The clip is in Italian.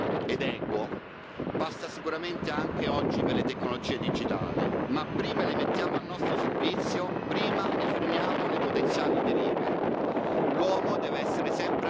Lo sviluppo sostenibile ed equo passa sicuramente anche oggi per le tecnologie digitali, ma prima le mettiamo al nostro servizio, prima ne freniamo le potenziali derive.